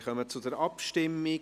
Wir kommen zur Abstimmung.